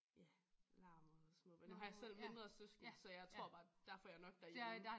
Ja larm og små børn nu har jeg selv mindre søskende så jeg tror bare der får jeg nok derhjemme